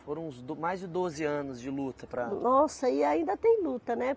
Foram uns do, mais de doze anos de luta para... Nossa, e ainda tem luta, né?